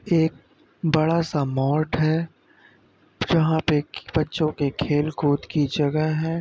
एक बडा सा मोर्ट है। जहाँ पे बच्चों के खेल-कूद की जगह है।